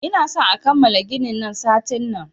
Ina son a kammala ginin nan satin nan!